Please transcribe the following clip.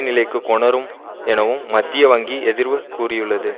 நிலைக்கு கொணரும் எனவும் மத்திய வங்கி எதிர்வு கூறியுள்ளது